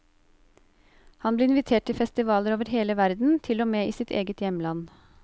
Han ble invitert til festivaler over hele verden, til og med i sitt eget hjemland.